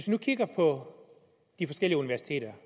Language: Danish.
nu kigger på de forskellige universiteter